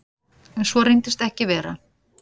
Svo reyndist ekki vera.